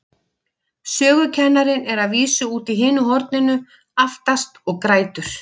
Sögukennarinn er að vísu úti í hinu horninu, aftast, og grætur.